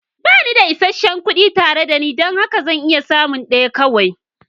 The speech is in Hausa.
Ba ni da isasshen kuɗi tare da ni don haka zan iya samun ɗaya kawai.